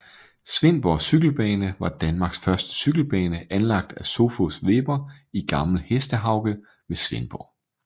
Svendborg Cykelbane var Danmarks første cykelbane anlagt af Sophus Weber i Gammel Hestehauge ved Svendborg